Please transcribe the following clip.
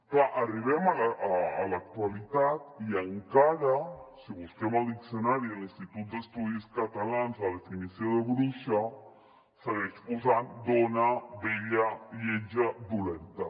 clar arribem a l’actualitat i encara si busquem el diccionari de l’institut d’estudis catalans la definició de bruixa segueix posant dona vella lletja dolenta